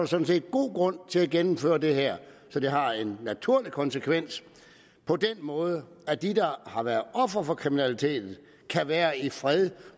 sådan set god grund til at gennemføre det her så det har en naturlig konsekvens på den måde at de der har været ofre for kriminaliteten kan være i fred